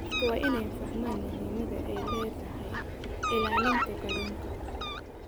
Dadku waa inay fahmaan muhiimadda ay leedahay ilaalinta kalluunka.